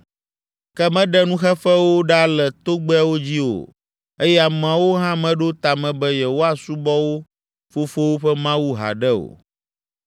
ke meɖe nuxeƒewo ɖa le togbɛawo dzi o eye ameawo hã meɖo ta me be yewoasubɔ wo fofowo ƒe Mawu haɖe o,